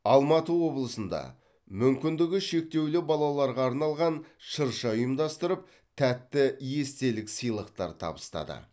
алматы облысында мүмкіндігі шектеулі балаларға арналған шырша ұйымдастырып тәтті естелік сыйлықтар табыстады